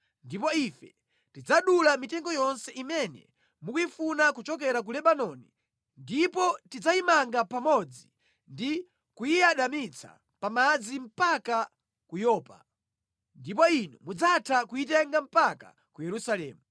ndipo ife tidzadula mitengo yonse imene mukuyifuna kuchokera ku Lebanoni ndipo tidzayimanga pamodzi ndi kuyiyadamitsa pa madzi mpaka ku Yopa. Ndipo inu mudzatha kuyitenga mpaka ku Yerusalemu.”